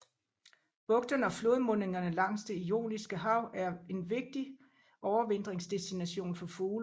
Bugterne og flodmundingerne langs Det Ioniske Hav er en vigtig overvintringsdestination for fugle